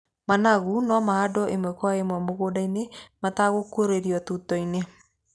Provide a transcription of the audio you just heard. Managu no mahandwo ĩmwe kwa ĩmwe mũgũnda-inĩ mategũĩkĩrũo tuto-inĩ.